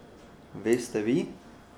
Veste vi?